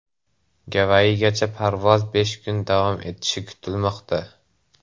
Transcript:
Gavayigacha parvoz besh kun davom etishi kutilmoqda.